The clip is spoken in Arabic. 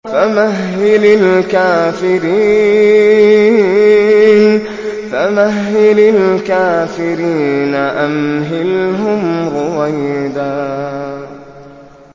فَمَهِّلِ الْكَافِرِينَ أَمْهِلْهُمْ رُوَيْدًا